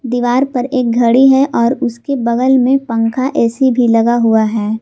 दीवार पर एक घड़ी है और उसके बगल में पंखा ए_सी भी लगा हुआ है।